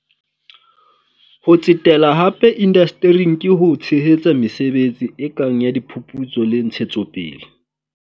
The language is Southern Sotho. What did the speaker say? Ho tsetela hape indastering ke ho tshehetsa mesebetsi e kang ya diphuputso le ntshetsopele.